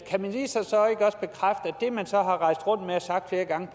det man så har rejst rundt med og sagt flere gange